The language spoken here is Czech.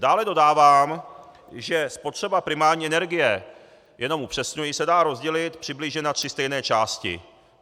Dále dodávám, že spotřeba primární energie, jenom upřesňuji, se dá rozdělit přibližně na tři stejné části.